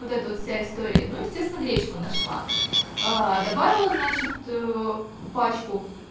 вот эта вот вся история ну естественно гречку нашла добавила значит пачку